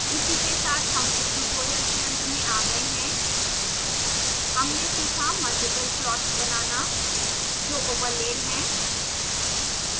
इसी के साथ हम इस ट्यूटोरियल के अंत में आ गए हैं हमने सीखा